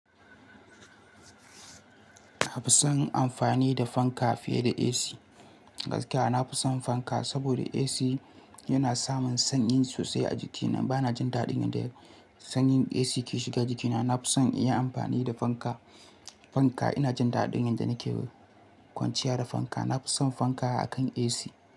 Na fi son yin amfani da fanka fiye da AC. Gaskiya na fi son fanka, saboda AC yana samin sanyi sosai a jikina. Ba na jin daɗin yadda sanyin AC ke shiga jikina. Na fi son yin amfani da fanka. Fanka ina jin daɗin yadda nake kwanciya da fanka. Na fi son fanka akan AC.